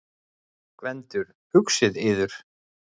GVENDUR: Hugsið yður!